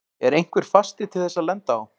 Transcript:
Er einhver fasti til þess að lenda á?